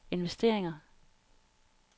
investeringer